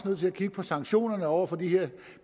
nødt til at kigge på sanktionerne over for de her